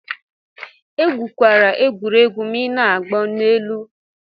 Egwukwala egwuregwu ma ị na-agbo n'ụlọ elu.